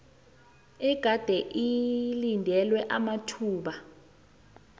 egade idinywe amathuba